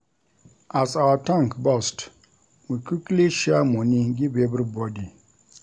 As our tank burst, we quickly share moni give everybody.